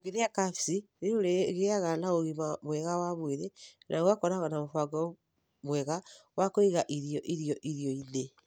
Ũngĩrĩa kabici, nĩ ũrĩgĩaga na ũgima mwega wa mwĩrĩ na ũgakorũo na mũbango mwega wa kũiga irio irio irio-inĩ.